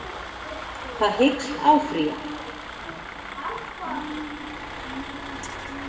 Það hyggst áfrýja